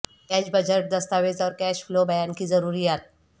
cash budget دستاویز اور cash flow بیان کی ضروریات